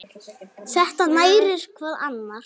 Þetta nærir hvað annað.